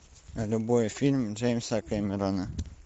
любой фильм джеймса кэмерона